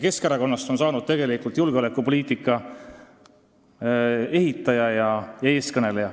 Keskerakonnast on aga saanud julgeolekupoliitika ehitaja ja eestkõneleja.